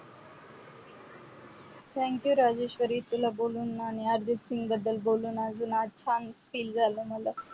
thank you Rajeshwari तुला बोलून आणि अर्जित सिंग बद्दल बोलून अजून आज मला छान feel झालं.